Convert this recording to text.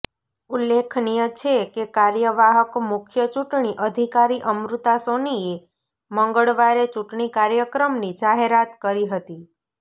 ઉલ્લેખનીય છે કે કાર્યવાહક મુખ્ય ચૂંટણી અધિકારી અમૃતા સોનીએ મંગળવારે ચૂંટણી કાર્યક્રમની જાહેરાત કરી હતી